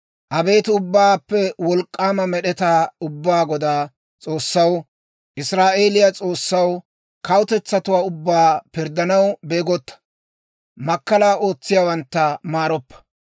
Abeet Ubbaappe Wolk'k'aama Med'etaa Ubbaa Godaa S'oossaw, Israa'eeliyaa S'oossaw, kawutetsatuwaa ubbaa pirddanaw beegotta; makkalaa ootsiyaawantta maaroppa.